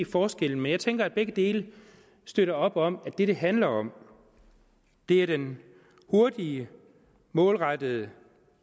forskellen men jeg tænker at begge dele støtter op om at det det handler om er den hurtige målrettede